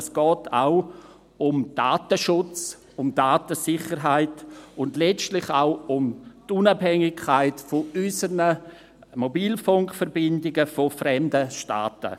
Es geht auch um Datenschutz, um Datensicherheit, und letztlich auch um die Unabhängigkeit unserer Mobilfunkverbindungen von fremden Staaten.